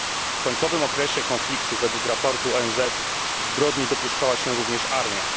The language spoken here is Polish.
W końcowym okresie konfliktu według raportu ONZ zbrodni dopuszczała się również armia.